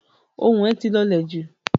Ohùn ẹ̀ ti lọ̀lẹ̀ jù.